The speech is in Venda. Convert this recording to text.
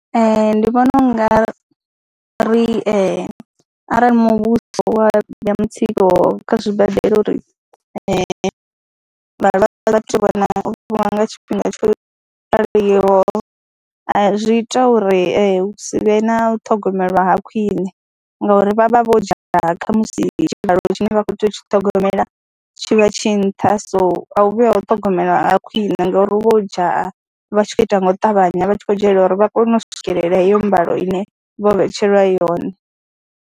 Ee, ndi vhona u nga ri arali muvhuso wa mutsiko kha zwibadela uri vhalwadze vha tou vha na nga tshifhinga tsho raliho a zwi ita uri hu si vhe na u ṱhogomelwa ha khwine ngauri vha vha vho dzhaya kha musi tshivhalo tshine vha khou tea u tshi ṱhogomela tshi vha tshi nṱha, so a hu vhi ha u ṱhogomelwa ha khwine ngauri hu vha ho dzhaya, vha tshi khou ita nga u ṱavhanya, vha tshi khou dzhayela uri vha kone u swikelela heyo mbalo ine vho vhetshelwa yone.